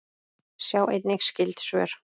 Sjá einnig skyld svör